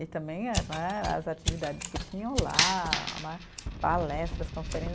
E também eh né, as atividades que tinham lá né, palestras,